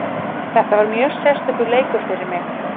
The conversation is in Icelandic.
Þetta var mjög sérstakur leikur fyrir mig.